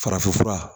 Farafinfura